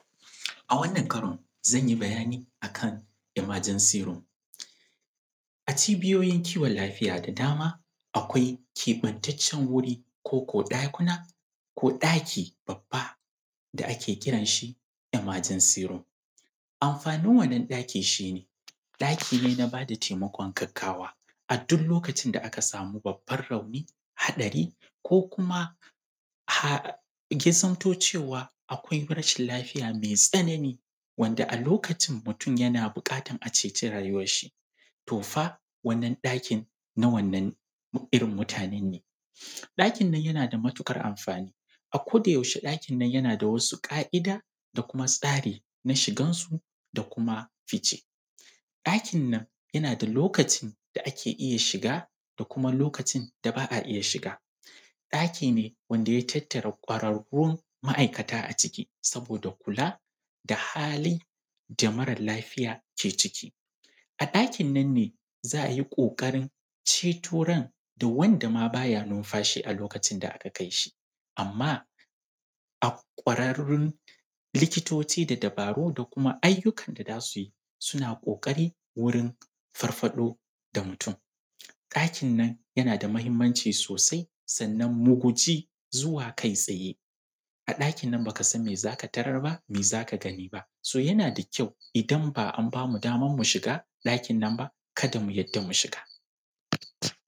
A wannan karon, zan yi bayani a kan Emergency Room. A cibiyoyin kiwon lafiya da dama, akwai keɓantaccen wuri, ko ko ɗakuna, ko ɗaki babba da ake kiran shi ‘Emergency Room’. Amfanin wannan ɗakin shi ne, ɗaki ne na ba da taimakon gaggawa, a duk lokacin da aka samu babban rauni, haɗari, ko kuma, ya zamto cewa akwai rashin lafiya mai tsanani, wanda a lokacin mutum yana buƙatar a ceci rayuwarshi. To fa, wannan ɗakin na wannan irin mutanen ne. Ɗakin yana da matuƙar amfani. A kodayaushe ɗakin nan yana da wasu ƙa’ida, da kuma tsari na shigansu. da kuma fice. Ɗakin nan, yana da lokacin da ake iya shiga da kuma lokacin da ba a iya shiga. Ɗaki ne wanda ya tattara ƙwararrun ma’aikata a ciki, saboda kula, da halin da mara lafiya ke ciki. A ɗakin nan ne, za a yi ƙoƙarin ceto ran da wanda ma ba ya numfashi a lokacin da aka kai shi. Amma, ƙwararrun likitoci da dabaru da kuma ayyukan da za su yi, suna ƙoƙari wurin farfaɗo da mutum. Ɗakin nan, yana da muhimmanci sosai. Sannan mu guji zuwa kai-tsaye, a ɗakin nan ba ka san me za ka tarar ba, me za ka gani ba. So yana da kyau, idan ba an ba mu damar mu shiga ɗakin nan ba, kada mu yarda mu shiga.